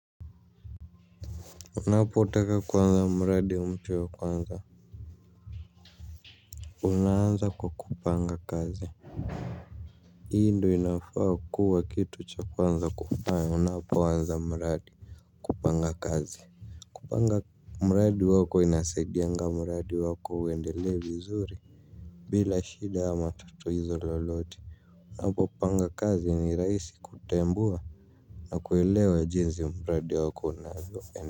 Unapotaka kuanza mradi mtu wa kwanza unaanza kwa kupanga kazi. Hii ndio inafaa kuwa kitu cha kwanza kufanya unapoanza mradi. Kupanga kazi kupanga mradi wako inasaidianga mradi wako uendelee vizuri bila shida ama tatizo lolote. Unapopanga kazi ni rahisi kutambua na kuelewa jinsi mradi wako unavyofanya.